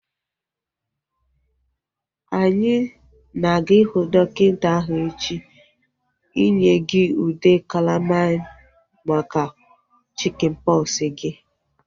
Anyị na-aga ihu dọkịta ahu echi inye gị ude kalamain maka chikin pọksi gị